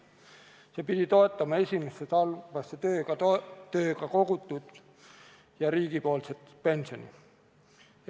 See pidi toetama esimesse sambasse tööga kogutud riigipoolset pensioni.